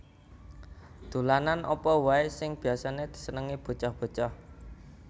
Dolanan apa wae sing biasane disenengi bocah bocah